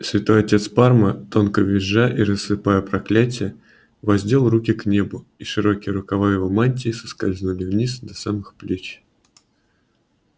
святой отец парма тонко визжа и рассыпая проклятия воздел руки к небу и широкие рукава его мантии соскользнули вниз до самых плеч